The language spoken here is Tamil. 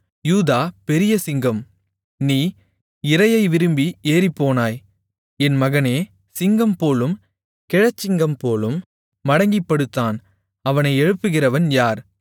யூதா பெரிய சிங்கம் நீ இரையை விரும்பி ஏறிப்போனாய் என் மகனே சிங்கம்போலும் கிழச்சிங்கம்போலும் மடங்கிப்படுத்தான் அவனை எழுப்புகிறவன் யார்